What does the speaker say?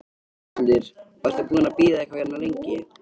Höskuldur: Og ertu búinn að bíða eitthvað hérna lengi?